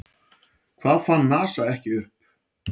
Hvað fann NASA ekki upp?